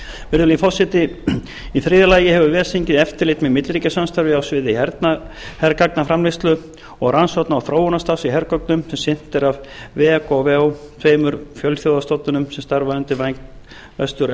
virðulegi forseti í þriðja lagi hefur ves þingið eftirlit með milliríkjasamstarfi á sviði hergagnaframleiðslu og rannsókna og þróunarstarfs í hergögnum sem sinnt er af vegar de tveimur fjölþjóðastofnunum sem starfa undir væng vestur